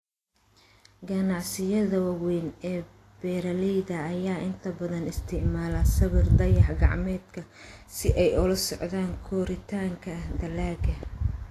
Ganacsiyada waaweyn ee beeralayda ayaa inta badan isticmaala sawirka dayax-gacmeedka si ay ula socdaan koritaanka dalagga.